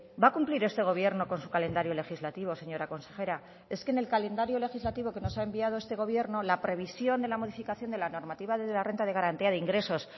va a cumplir este gobierno con su calendario legislativo señora consejera es que en el calendario legislativo que nos ha enviado este gobierno la previsión de la modificación de la normativa de la renta de garantía de ingresos